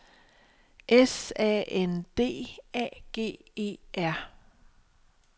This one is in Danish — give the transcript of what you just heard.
S A N D A G E R